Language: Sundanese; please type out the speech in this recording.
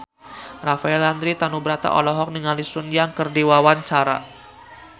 Rafael Landry Tanubrata olohok ningali Sun Yang keur diwawancara